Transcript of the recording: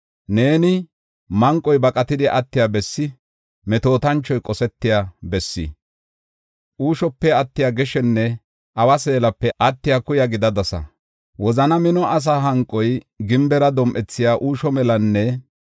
Neeni manqoy baqatidi attiya bessi, metootanchoy qosetiya bessi, uushope attiya geshenne awa seelape attiya kuya gidadasa. Wozana mino asaa hanqoy gimbera dom7ethiya uusho melanne